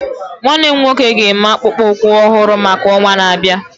Nwannem nwoke ga eme akpụkpọ ụkwụ ọhụrụ maka ọnwa na-abịa